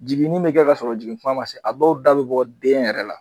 Jiginin mi kɛ ka sɔrɔ jigin kuma ma se a dɔw da bi bɔ den yɛrɛ la